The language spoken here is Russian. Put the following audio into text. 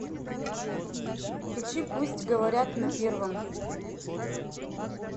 включи пусть говорят на первом